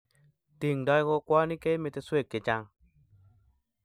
tingdoi kokwoni keimeteswek chechang'